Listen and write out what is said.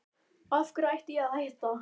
Af hverju ætti ég að hætta?